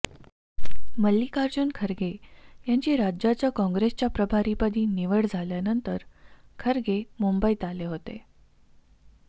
मल्लीकार्जुन खरगे यांची राज्याच्या काँग्रेसच्या प्रभारीपदी निवड झाल्यानंतर खरगे मुंबईत आले होते